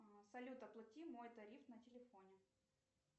салют оплати мой тариф на телефоне